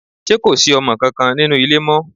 Ṣé kò sí ọmọ kankan nínú ilé mọ́?